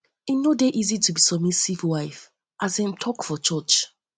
e no dey easy to be submissive wife as dem take talk for church talk for church